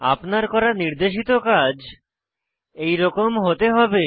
আপনার করা নির্দেশিত কাজ এইরকম হতে হবে